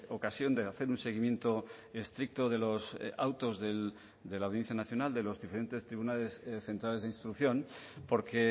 ocasión de hacer un seguimiento estricto de los autos de la audiencia nacional de los diferentes tribunales centrales de instrucción porque